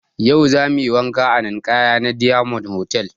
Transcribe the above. Yau zamuyi wanka a ninkaya na diyamond hotal